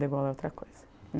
Degolar é outra coisa.